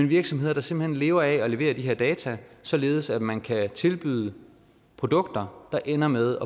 virksomheder der simpelt hen lever af at levere de her data således at man kan tilbyde produkter der ender med